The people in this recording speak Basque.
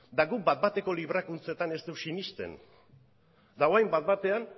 eta guk bat bateko librakuntzetan ez dugu sinesten eta orain bat batean